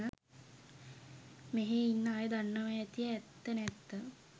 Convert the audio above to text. මෙහේ ඉන්න අය දන්නවා ඇති ඇත්ත නැත්ත